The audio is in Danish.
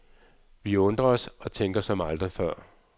Vi undrer os og tænker som aldrig før.